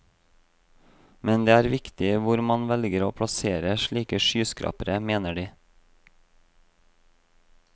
Men det er viktig hvor man velger å plassere slike skyskrapere, mener de.